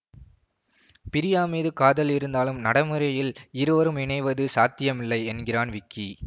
பிரியா மீது காதல் இருந்தாலும் நடைமுறையில் இருவரும் இணைவது சாத்தியமில்லை என்கிறான் விக்கி